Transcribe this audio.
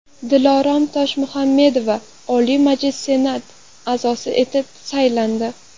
Dilorom Toshmuhammedova Oliy Majlis Senat a’zosi etib saylandi.